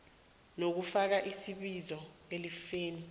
lokufaka isibizo elifeni